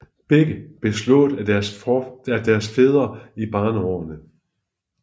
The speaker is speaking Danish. Begge blev slået af deres fædre i barneårene